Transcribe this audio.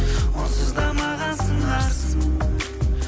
онсыз да маған сыңарсың